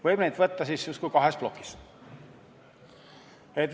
Võime neid vaadata justkui kahes plokis.